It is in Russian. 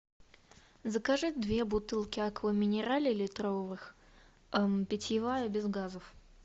закажи две бутылки аква минерале литровых питьевая без газов